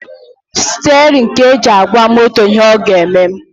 Stirin ka e ji agwa moto ihe ọ ga-eme